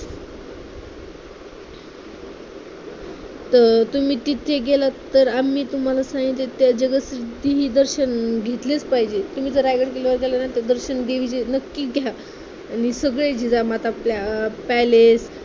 अं तुम्ही तिथे गेलात तर आम्ही तुम्हाला सांगितलं त्या जगदीश्वराचे दर्शन घेतलेस पाहिजे. तुम्ही जर रायगड किल्ल्यावर गेलात की देवीचे दर्शन नक्की घ्या आणि सगळे जिजामाता प्लॅ अं palace